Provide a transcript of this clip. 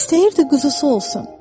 İstəyirdi quzusu olsun.